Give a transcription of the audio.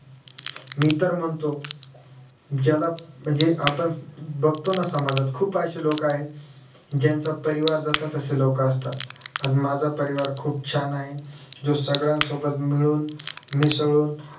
मी तर म्हणतो ज्याला म्हणजे आपण बघतो ना समाजात खुप अशी लोक आहेत ज्याचं परिवार जसा तशी लोक असतात पण माझा परिवार खुप छान आहे जो सगळ्यासोबत मिळून मिसळून